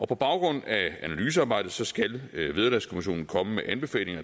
på baggrund af analysearbejdet skal vederlagskommissionen komme med anbefalinger